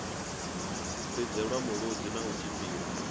lidzelwa mulodzi na u tshipiwa